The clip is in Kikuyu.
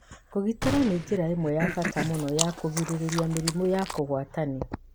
Kũgitĩra nĩ njĩra ĩmwe ya bata mũno ya kũgirĩrĩria mĩrimũ ya kũgwatanio.